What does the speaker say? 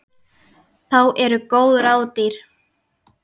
Þá eru góð ráð dýr.